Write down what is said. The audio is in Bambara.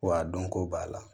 Wa a dɔn ko b'a la